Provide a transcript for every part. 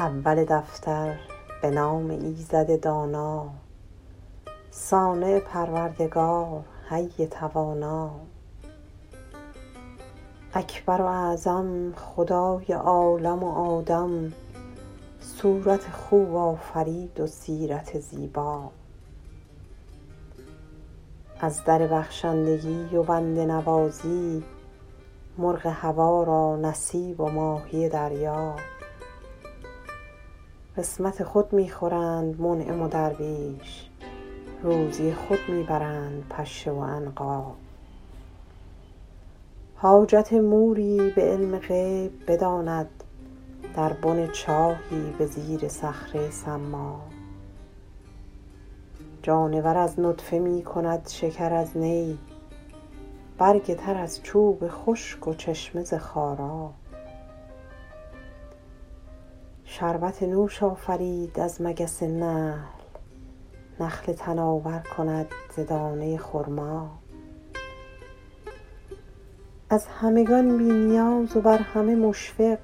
اول دفتر به نام ایزد دانا صانع پروردگار حی توانا اکبر و اعظم خدای عالم و آدم صورت خوب آفرید و سیرت زیبا از در بخشندگی و بنده نوازی مرغ هوا را نصیب و ماهی دریا قسمت خود می خورند منعم و درویش روزی خود می برند پشه و عنقا حاجت موری به علم غیب بداند در بن چاهی به زیر صخره ی صما جانور از نطفه می کند شکر از نی برگ تر از چوب خشک و چشمه ز خارا شربت نوش آفرید از مگس نحل نخل تناور کند ز دانه ی خرما از همگان بی نیاز و بر همه مشفق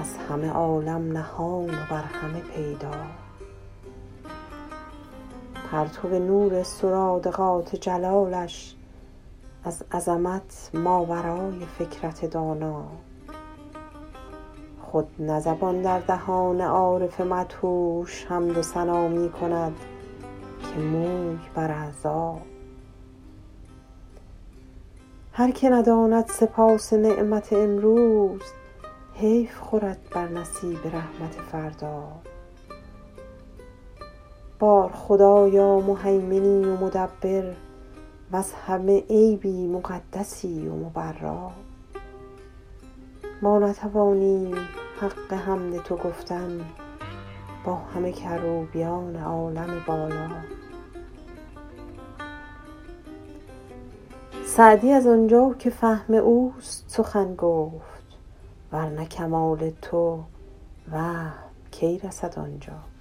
از همه عالم نهان و بر همه پیدا پرتو نور سرادقات جلالش از عظمت ماورای فکرت دانا خود نه زبان در دهان عارف مدهوش حمد و ثنا می کند که موی بر اعضا هر که نداند سپاس نعمت امروز حیف خورد بر نصیب رحمت فردا بار خدایا مهیمنی و مدبر وز همه عیبی مقدسی و مبرا ما نتوانیم حق حمد تو گفتن با همه کروبیان عالم بالا سعدی از آنجا که فهم اوست سخن گفت ور نه کمال تو وهم کی رسد آنجا